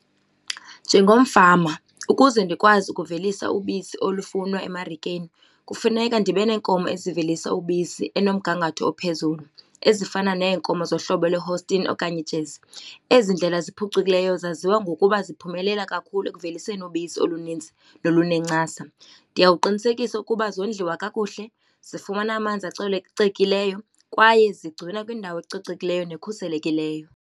Njengomfama ukuze ndikwazi ukuvelisa ubisi olufunwa emarikeni kufuneka ndibe neenkomo ezivelisa ubisi enomgangatho ophezulu ezifana neenkomo zohlobo lwe-holstein okanye i-jersey. Ezi ndlela ziphucukileyo zaziwa ngokuba ziphumelela kakhulu ekuveliseni ubisi olunintsi nolunenkcasa. Ndiya kuqinisekisa ukuba zondliwa kakuhle, zifumana amanzi acocekileyo kwaye zigcinwa kwindawo ecocekileyo nekhuselekileyo.